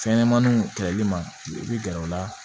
Fɛnɲɛnɛmaninw kɛlɛli ma i bɛ gɛrɛ u la